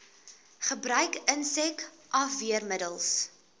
gebruik insek afweermiddels